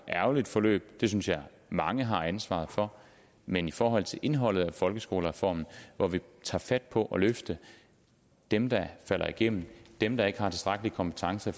ærgerligt forløb det synes jeg mange har ansvaret for men i forhold til indholdet af folkeskolereformen hvor vi tager fat på at løfte dem der falder igennem dem der ikke har tilstrækkelige kompetencer